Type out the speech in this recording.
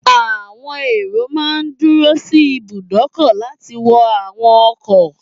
Àwọn èrò máa n dúró sí ibùdókọ̀ láti wọ àwọn ọkọ̀